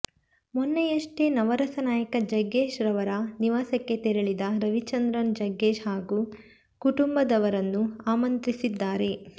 ಮೊನ್ನೆಯಷ್ಟೇ ನವರಸ ನಾಯಕ ಜಗ್ಗೇಶ್ ಅವರ ನಿವಾಸಕ್ಕೆ ತೆರೆಳಿದ ರವಿಚಂದ್ರನ್ ಜಗ್ಗೇಶ್ ಹಾಗೂ ಕುಟುಂಬದವರನ್ನು ಆಮಂತ್ರಿಸಿದ್ದಾರೆ